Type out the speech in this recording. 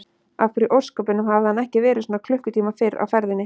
Af hverju í ósköpunum hafði hann ekki verið svona klukkutíma fyrr á ferðinni?